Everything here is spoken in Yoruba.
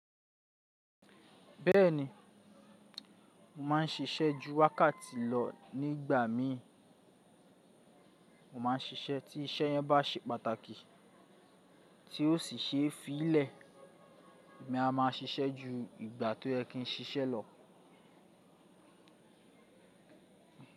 Bẹ́ẹ̀ni, mo máa ń ṣiṣẹ́ ju wákàtí lọ nígbà mí, mo máa ń ṣiṣẹ́ tí iṣẹ́ yẹn bá ṣe pàtàkì tí ó sì ṣe fílẹ̀, èmi a máa ṣiṣẹ́ ju ìgbà tó yẹ kí n ṣiṣẹ́ lọ.